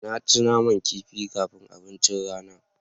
Na ci naman kifi kafin abincin rana.